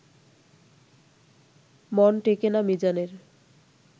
মন টেকে না মিজানের